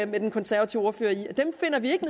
med den konservative ordfører i at dem finder vi ikke